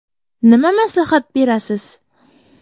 Nima maslahat berasiz?